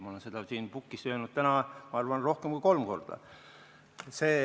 Ma olen seda siin puldis öelnud täna, ma arvan, rohkem kui kolm korda.